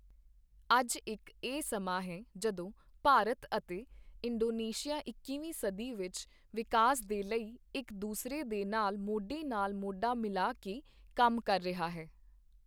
ਅੱਜ ਇੱਕ ਇਹ ਸਮਾਂ ਹੈ ਜਦੋਂ ਭਾਰਤ ਅਤੇ ਇੰਡੋਨੇਸ਼ੀਆ ਇੱਕੀਵੀਂ ਸਦੀ ਵਿੱਚ ਵਿਕਾਸ ਦੇ ਲਈ ਇੱਕ ਦੂਸਰੇ ਦੇ ਨਾਲ ਮੌਢੇ ਨਾਲ ਮੌਢਾ ਮਿਲਾ ਕੇ ਕੰਮ ਕਰ ਰਿਹਾ ਹੈ।